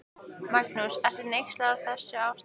Magnús: Ertu hneyksluð á þessu ástandi?